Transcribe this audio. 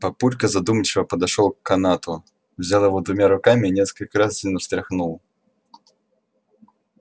папулька задумчиво подошёл к канату взял его двумя руками и несколько раз сильно встряхнул